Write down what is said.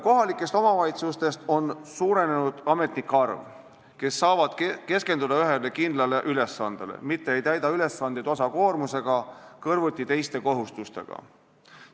Kohalikes omavalitsustes on suurenenud nende ametnike arv, kes saavad keskenduda ühele kindlale ülesandele, mitte ei täida ülesandeid osakoormusega kõrvuti teiste kohustustega.